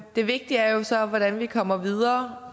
det vigtige er jo så hvordan vi kommer videre